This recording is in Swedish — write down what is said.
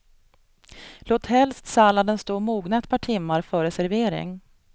Låt helst salladen stå och mogna ett par timmar före servering.